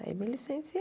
Aí me licenciei.